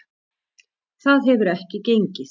Það hefur ekki gengið.